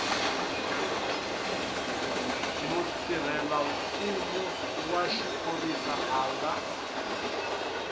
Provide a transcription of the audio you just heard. mutirhelamfumo wa xiphorisa a nga